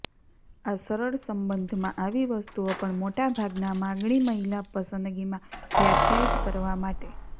આ સરળ સંબંધમાં આવી વસ્તુઓ પણ મોટા ભાગના માગણી મહિલા પસંદગીમાં વ્યાખ્યાયિત કરવા માટે